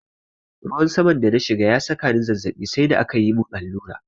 Ruwan saman da na shiga ya saka ni zazzaɓi sai da akayi mun allura.